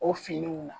O finiw na